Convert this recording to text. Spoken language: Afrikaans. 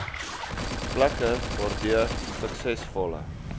plekke waardeur suksesvolle